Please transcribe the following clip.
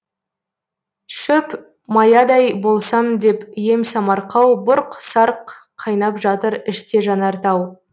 шөп маядай болсам деп ем самарқау бұрқ сарқ қайнап жатыр іште жанар тау